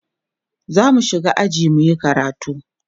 zamu shiga aji muyi karatu